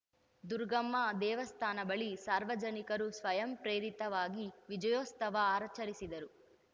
ದುರಗಮ್ಮ ದೇವಸ್ಥಾನ ಬಳಿ ಸಾರ್ವಜನಿಕರು ಸ್ವಯಂ ಪ್ರೇರಿತವಾಗಿ ವಿಜಯೋತ್ಸವ ಆರ್ಚರಿಸಿದರು